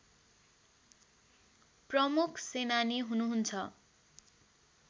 प्रमुख सेनानी हुनुहुन्छ